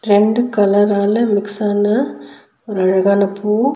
ரெண்டு கலரால மிக்ஸ் ஆன ஒரு அழகான பூ.